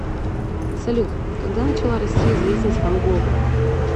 салют когда начала расти известность ван гога